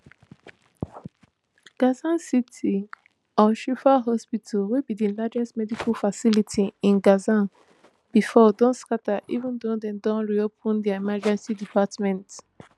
gaza city alshifa hospital wey be di largest medical facility in gaza bifor don scata even though dem don reopen dia emergency department